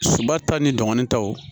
Suba ta ni dɔgɔnin taw